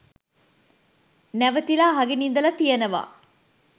නැවතිලා අහගෙන ඉඳලා තියෙනවා.